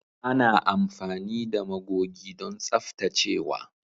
Ana amfani da magogi don tsaftacewa.